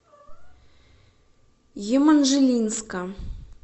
еманжелинска